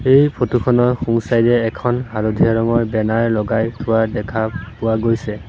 এই ফটো খনৰ সোঁ চাইড এ এখন হালধীয়া ৰঙৰ বেনাৰ লগাই থোৱা দেখা পোৱা গৈছে।